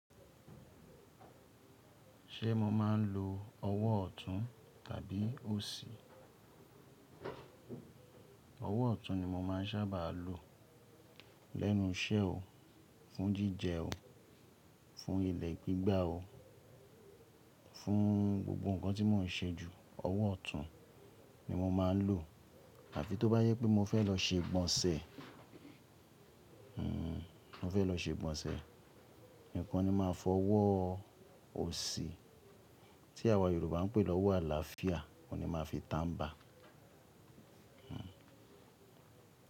Ṣé mo máa ń lo ọwọ́ ọ̀tún tàbí òsì? Ọwọ́ ọ̀tún ni mo máa ń sábà lo lẹ́nu iṣẹ́ o, fún jíjẹ o, fún ilẹ̀ gbígbá o, fún gbogbo nǹkan tí mò ń ṣe jù, ọwọ́ ọ̀tún ni mo máa ń lò. Àfi tó bá yẹ pé mo fẹ́ lọ ṣe ìgbọ̀nsẹ̀, mo fẹ́ lọ ṣe ìgbọ̀nsẹ̀ nìkan ni máa fọ ọwọ́ òsì tí àwa Yorùbá ń pè lọ́wọ́ àlàáfíà, òun ni màá fi tànbá.